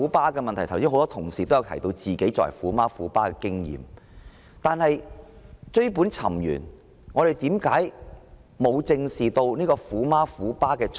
剛才很多同事也提到自己身為"虎媽"或"虎爸"的經驗，但追本尋源，為何會出現"虎媽"、"虎爸"？